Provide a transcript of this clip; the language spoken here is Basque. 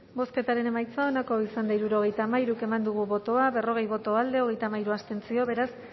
bozketaren emaitza onako izan da hirurogeita hamairu eman dugu bozka berrogei boto alde treinta y tres contra beraz